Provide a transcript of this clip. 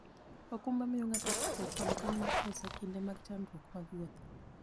okumba miyo ng'ato ritruok kod kony mar pesa e kinde mag chandruok mag wuoth.